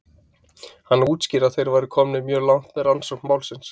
Hann útskýrði að þeir væru komnir mjög langt með rannsókn málsins.